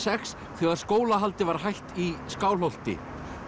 sex þegar skólahaldi var hætt í Skálholti